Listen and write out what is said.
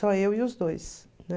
Só eu e os dois, né?